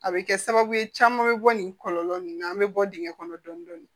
A bɛ kɛ sababu ye caman bɛ bɔ nin kɔlɔlɔ nin an bɛ bɔ dingɛ kɔnɔ dɔɔnin dɔɔnin